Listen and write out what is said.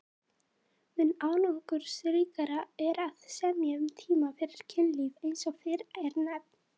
Mun árangursríkara er að semja um tíma fyrir kynlíf eins og fyrr er nefnt.